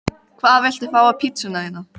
Hvað viltu fá á pizzuna þína?